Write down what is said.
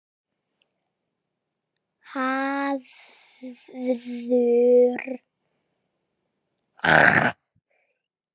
Hafþór: Voruð þið hætt komnir?